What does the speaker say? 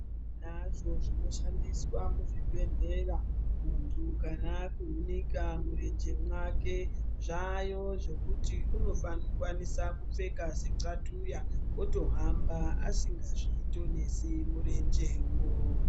Tinazvo zvinoshandiswa muzvibhedhlera muntu kana akuhunika murenje mwake. Zvaayo zvekuti unokwanisa kupfeka sexatuya otohamba asingazvitonisi murenjewo.